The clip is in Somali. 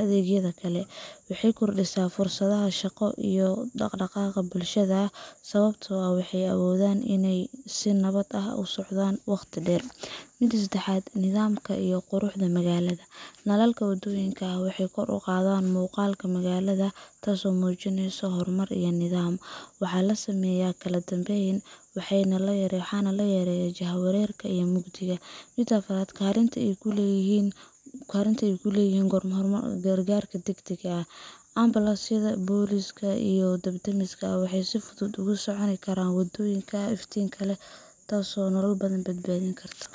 adeegyada kale. Waxay kordhisaa fursadaha shaqo iyo dhaqdhaqaaqa bulshada, sababtoo ah dadku waxay awoodaan inay si nabad ah u socdaalaan wakhti dheer. Mida sedexad waxawaye Nidaamka iyo Quruxda Magaalooyinka Nalalka waddooyinka waxay kor u qaadaan muuqaalka magaalada, taas oo muujinaysa horumar iyo nidaam. Waxaa la sameeyaa kala dambeyn, waxaana la yareeyaa jahwareerka iyo mugdiga ka dhasha waddooyinka aan la iftiimin. Mida afaraad waxawaye Kaalinta ay ku leeyihiin Gurmadka Degdegga ah Ambulance-yada, booliska, iyo dab-demiska waxay si fudud ugu socon karaan waddooyin iftiin leh, taasoo nolol badbaadin karta